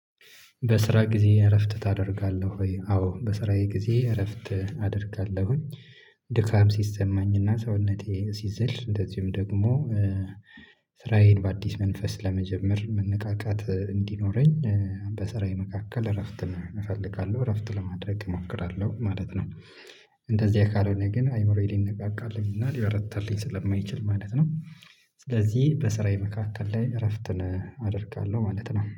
በስራ ጊዜ እረፍት ታደርጋለህ ወይ? አዎ በስራዬ ጊዜ እረፍት አደርጋለሁኝ። ድካም ሲሰማኝና ሰውነቴ ሲዝል እንደዚሁም ደግሞ። ስራዬን በአዲስ መንፈስ ለመጀመር መነቃቃት እንዲኖረኝ በስራዬ መካከል እረፍትን እፈልጋለሁ እረፍት ለማድረግ እሞክራለሁ ማለት ነው። እንደዚያ ካልሆነ ግን አይምሮዬ ሊነቃቃልኝ እና ሊበረታልኝ ስለማይችል ማለት ነው። ስለዚህ በስራዬ መካከል ላይ እረፍትን አደርጋለሁ ማለት ነው